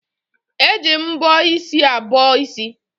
Eji mbọ isi abọ isi